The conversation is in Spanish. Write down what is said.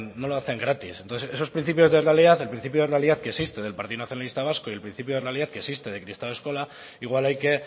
no lo hacen gratis entonces esos principios de realidad el principio de realidad que existe del partido nacionalista vasco y el principio de realidad que existe de kristau eskola igual hay que